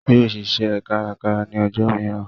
Yóò ṣiṣẹ́ kárakára ní ọjọ́ mìíràn